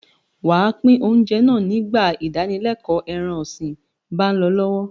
Wà á pín oúnjẹ náà nígbà ìdánilẹ́ẹ̀kọ́ ẹran-ọ̀sìn bá ń lọ lọ́wọ́.